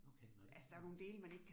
Okay, nåh det sådan